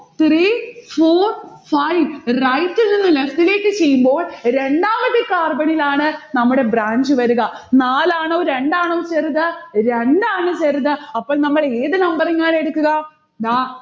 three four five. right ഇൽനിന്ന് left ലേക്ക് ചെയ്യുമ്പോൾ രണ്ടാമത്തെ carbon ലാണ് നമ്മുടെ branch വരുക. നാലാണോ രണ്ടാണോ ചെറുത്? രണ്ടാണ് ചെറുത്. അപ്പോൾ നമ്മൾ ഏതു numbering ആണ് എടുക്കുക? ദാ